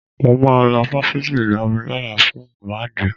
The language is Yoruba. Mo máa lọ fásitì Ìlọrin lọ́la fún ìwádìí